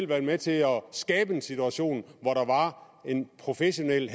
været med til at skabe en situation hvor der var en professionel